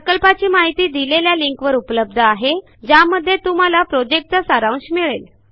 प्रकल्पाची माहिती खालील लिंकवर उपलब्ध आहे ज्यामध्ये प्रॉजेक्टचा सारांश मिळेल